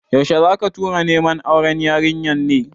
Yaushe zaka tura neman auren yarinyar ne?